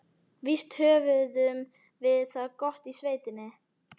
Víst höfðum við það gott í sveitinni.